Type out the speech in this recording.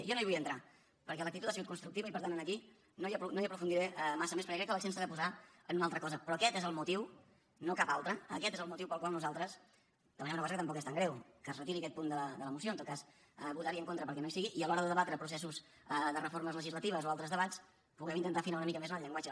jo no hi vull entrar perquè l’actitud ha sigut constructiva i per tant aquí no hi aprofundiré massa més perquè crec que l’accent s’ha de posar en una altra cosa però aquest és el motiu no cap altre aquest el motiu pel qual nosaltres demanem una cosa que tampoc és tan greu que es retiri aquest punt de la moció o en tot cas votar hi en contra perquè no hi sigui i a l’hora de debatre processos de reformes legislatives o altres debats que puguem intentar afinar una mica més en el llenguatge